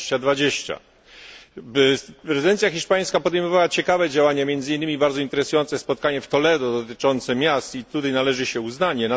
2020. Prezydencja hiszpańska podejmowała ciekawe działania, między innymi bardzo interesujące spotkanie w Toledo, dotyczące miast, i tutaj należy się uznanie.